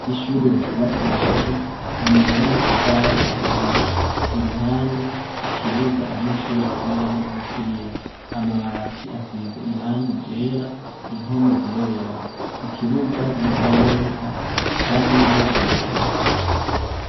Ishure ryubakishijwe amabuye n'amatafari ahiye iruhande ikibuga abanyeshure bakiniramwo umupira amabati asize irangi ryera impome zirera ikibuga gisa neza hamwe n'inzugi.